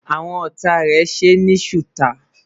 àwọn ọtá rè ṣé ní suta